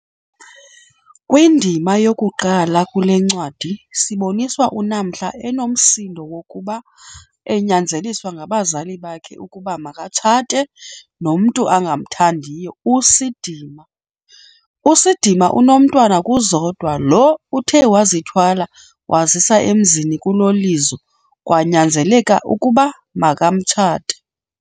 Kwindima yokuqala kulencwadi siboniswa uNamhla enomsindo wokuba anyanzeliswa ngabazali bakhe ukuba makatshate nomntu angamthandiyo, uSidima. USidima unomntwa kuZodwa lo uthe wazithwala wazisa emzini kuloLizo, kwanyanzeleka ukuba makamtshate.